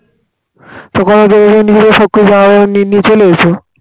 ওখানে সবকিছু যা হবে নিনিয়ে চলে এসো